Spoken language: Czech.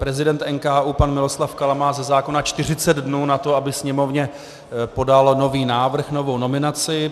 Prezident NKÚ pan Miloslav Kala má ze zákona 40 dnů na to, aby Sněmovně podal nový návrh, novou nominaci.